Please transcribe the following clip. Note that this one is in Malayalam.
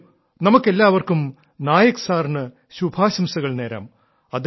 വരൂ നമുക്കെല്ലാവർക്കും നായക് സാറിന് ശുഭാശംസകൾ നേരാം